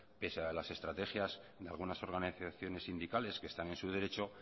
pese a las estrategias de algunas organizaciones sindicales que están en su derecho